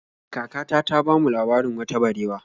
Kakata ta bamu labarin wata barewa.